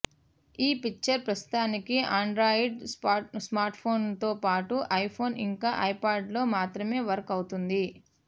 ఈ ఫీచర్ ప్రస్తుతానికి ఆండ్రాయిడ్ స్మార్ట్ఫోన్లతో పాటు ఐఫోన్ ఇంకా ఐప్యాడ్లలో మాత్రమే వర్క్ అవుతోంది